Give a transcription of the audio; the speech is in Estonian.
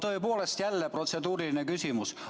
Mul on tõepoolest jälle protseduuriline küsimus.